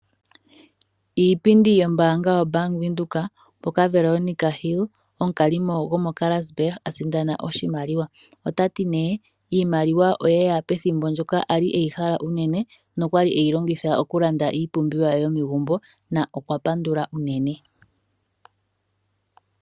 Iipindi yombaanga yaVenduka, moka Veronica Hill, omukalimo womoKarasburg, a sindana oshimaliwa. Otati nee iimaliwa oyeya pethimbo ndjoka ali eyi hala unene, nokwali eyilongitha okulanda iipumbiwa ye yomegumbo , na okwa pandula unene.